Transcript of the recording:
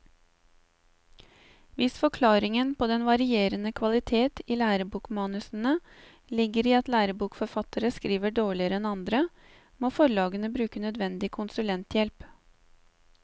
Hvis forklaringen på den varierende kvalitet i lærebokmanusene ligger i at lærebokforfattere skriver dårligere enn andre, må forlagene bruke nødvendig konsulenthjelp.